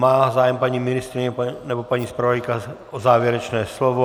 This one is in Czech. Má zájem paní ministryně nebo paní zpravodajka o závěrečné slovo?